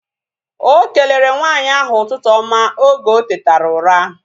Okelere nwaanyị ahu ụtụtụ oma oge otetara ụra